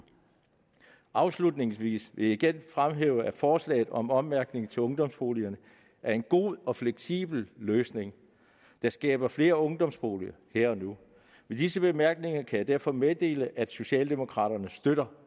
afslutningsvis vil jeg igen fremhæve at forslaget om ommærkning til ungdomsboliger er en god og fleksibel løsning der skaber flere ungdomsboliger her og nu med disse bemærkninger kan jeg derfor meddele at socialdemokraterne støtter